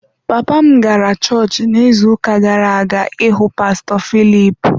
Papa m gara chọọchị n’izuuka gara-aga ịhụ pastọ Philip.